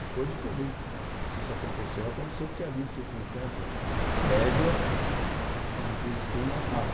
Depois que eu vejo que se isso aconteceu, aconteceu porque haviam circunstâncias prévias que me predispunham a tal.